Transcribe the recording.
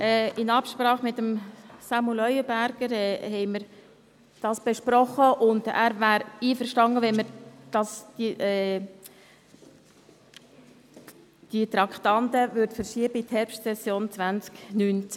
Wir haben dies mit Samuel Leuenberger besprochen, und er wäre einverstanden, wenn wir dieses Traktandum in die Herbstsession 2019 verschöben.